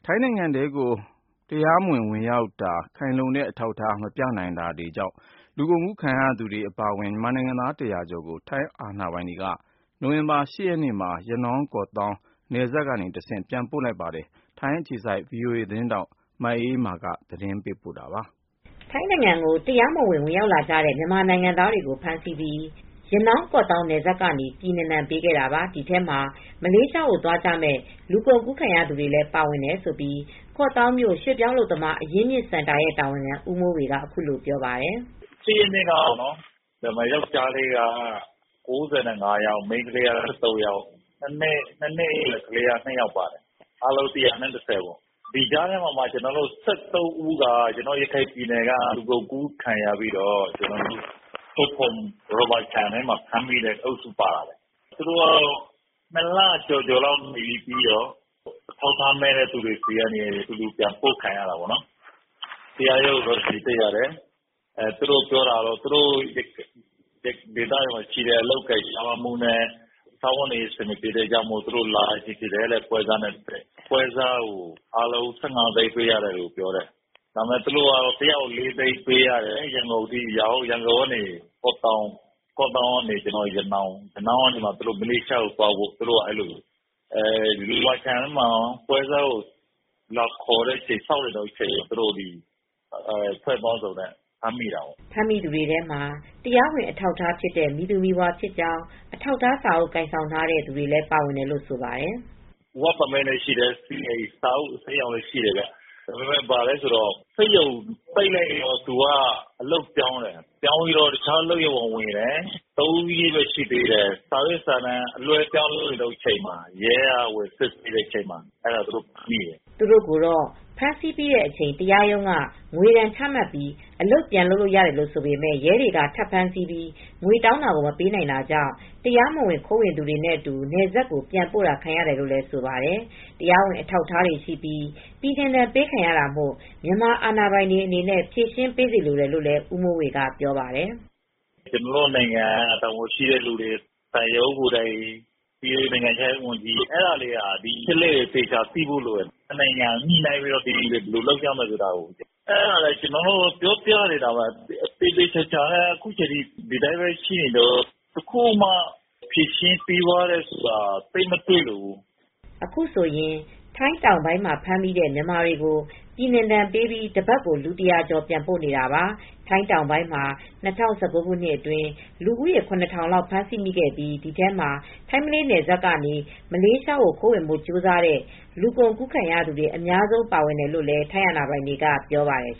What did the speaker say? ိုင်းနိုင်ငံထဲကို တရားမဝင် ဝင်ရောက်တာ၊ ခိုင်လုံတဲ့ အထောက်အထား မပြနိုင်တာတွေကြောင့် လူကုန်ကူးခံရသူတွေ အပါအဝင် မြန်မာနိုင်ငံသား ၁၀၀ ကျော်ကို ထိုင်းအာဏာပိုင်တွေက နိုဝင်ဘာလ ၈ ရက်နေ့မှာ ရနောင်း-ကော့သောင်း နယ်စပ်ကနေတဆင့် ပြန်ပို့လိုက်ပါတယ်။ အပြည့်အစုံကို ထိုင်းအခြေစိုက် ဗွီအိုအေသတင်းထောက် မအေးအေးမာက သတင်းပေးပို့ထားပါတယ်။ ထိုင်းနိုင်ငံကို တရားမဝင် ဝင်ရောက်လာတဲ့ မြန်မာနိုင်ငံသားတွေကို ဖမ်းဆီးပြီး ရနောင်း-ကော့သောင်း နယ်စပ်ကနေ ပြည်နှင်ဒဏ် ပေးခဲ့တာပါ။ ဒီထဲမှာ မလေးရှားကို သွားကြမယ့် လူကုန်ကူးခံရသူတွေလည်း ပါဝင်တယ်လို့ ကော့သောင်းမြို့ ရွှေ့ပြောင်းအလုပ်သမား အရင်းအမြစ်စင်တာရဲ့ တာဝန်ခံ ဦးမိုးဝေက အခုလိုပြောပါတယ်။ “၈ ရက်နေ့ကပေါ့ ပြန်လွဲှတာ၊ ယောက်ျားလေးက ၉၅ ယောက် မိန်းကလေးက ၁၃ ယောက်၊ ၂ နှစ်အရွယ်ကလေးက ၂ ယောက် အားလုံး ၁၁၀ ပါဝင်ပါတယ်။ ဒီကြားထဲမှာ ၁၃ ဦးက ရခိုင်ပြည်နယ်ကနေ လူကုန်ကူးခံရပြီး ချုံဖွန်ရော်ဘာခြံထဲမှာ ဖမ်းမိတဲ့ လူအုပ်စုပါတယ်။ သူတို့ကတော့ ၂ လကျော်နေရပြီး အထောက်အထားမဲ့နဲ့အတူ ပြန်ပို့တာ ခံရတယ်။ တရားရုံးကို တက်ရတယ်။ သူတို့က သူတို့ဒေသမှာ အလုပ်အကိုင် ရှားပါးမှုနဲ့ စားဝတ်နေရေး အဆင်မပြေလို့ ပွဲစားနဲ့လာကြတယ်။ ပွဲစားကို ၁၅ သိန်းပေးရမယ် ပြောတယ်။ သူတို့က ၄ သိန်းပေးရတယ်။ ရန်ကုန်အထိအရောက် ရန်ကုန်ကနေ ကော့သောင်း၊ ကော့သောင်းကနေ ရနောင်း၊ ရနောင်းကနေ မလေးရှားကို သွားဖို့အတွက် လုပ်နေတာ။ ရော်ဘာခြံထဲမှာ ပွဲစားကိုစောင့်နေတုန်း အဖွဲ့စုံနဲ့ ဖမ်းမိတာဖြစ်တယ်။” ဖမ်းမိသူတွေထဲမှာ တရားဝင် အထောက်အထားဖြစ်တဲ့ မည်သူမည်ဝါဖြစ်ကြောင်း အထောက်အထားစာအုပ် ကိုင်ဆောင်ထားတဲ့ သူတွေလည်း ပါဝင်တယ်လို့ ဆိုပါတယ်။ “အလုပ်လုပ်ခွင့် လက်မှတ်လည်းရှိတယ်၊ စီအိုင် အစိမ်းရောင်စာအုပ်လည်း ရှိတယ်၊ စက်ရုံပိတ်လိုက်တော့ အလုပ်ပြောင်းတယ်။ တခြားအလုပ်ရုံကို ဝင်တယ်။ ၃ ရက်ပဲ ရှိသေးတယ်။ စာရွက်စာတမ်း အလွှဲအပြောင်း လုပ်တဲ့အချိန်မှာ ရဲကဝင်စစ်ပြီး ဖမ်းမိတယ်။” သူတို့ကိုတော့ ဖမ်းဆီးပြီးတဲ့အချိန် တရားရုံးက ငွေဒဏ်ချမှတ်ပြီး အလုပ်ပြန်လုပ်လို့ ရတယ်လို့ ဆိုပေမယ့် ရဲတွေက ထပ်ဖမ်းဆီးပြီး ငွေတောင်းတာကို မပေးနိုင်တာကြောင့် တရားမဝင် ခိုးဝင်သူတွေနဲ့အတူ နယ်စပ်ကို ပြန်ပို့ထားခံရတယ်လို့ ဆိုပါတယ်။ တရားဝင် အထောက်အထားတွေရှိပြီး ပြည်နှင်ဒဏ်ပေးခံရတာမို့ မြန်မာအာဏာပိုင်တွေအနေနဲ့ ဖြေရှင်းပေးစေလိုတယ်လို့လည်း ဦးမိုးဝေက ပြောပါတယ်။ “ကျနော်တို့နိုင်ငံက တာဝန်ရှိတဲ့သူတွေ သံရုံးကိုယ်တိုင် နိုင်ငံခြားရေးဝန်ကြီးက ဒီအချက်အလက်တွေကို သေချာသိဖို့လိုတယ်။ နှစ်နိုင်ငံ ညှိနှိုင်းပြီး ဒီလူတွေ ဘယ်လိုလုပ်ကြမလဲ ဆိုတာကို ကျနော်တို့လည်း ပြောနေတာပဲ။ အခုအထိ ဒီအတိုင်းပဲရှိနေတုန်း၊ ဖြေရှင်းပေးတယ်ဆိုတာ သိပ်မတွေ့ဘူး။” အခုဆိုရင် ထိုင်းတောင်ပိုင်းမှာ ဖမ်းမိတဲ့ မြန်မာတွေကို ပြည်နှင်ဒဏ်ပေးပြီး တပတ်ကို လူ ၁၀၀ ကျော် ပြန်ပို့နေတာပါ။ ထိုင်းတောင်ပိုင်းမှာ ၂၀၁၉ ခုနှစ်အတွင်း လူ ၇,၀၀၀ လောက် ဖမ်းဆီးမိပြီး ဒီထဲမှာ ထိုင်း-မလေး နယ်စပ်ကနေ မလေးရှားကို ခိုးဝင်ဖို့ ကြိုးစားတဲ့ လူကုန်ကူးခံရသူတွေ အများဆုံး ပါဝင်တယ်လို့လည်း ထိုင်းအာဏာပိုင်တွေက ပြောပါတယ်